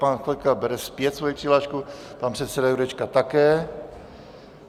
Pan Chvojka bere zpět svoji přihlášku, pan předseda Jurečka také.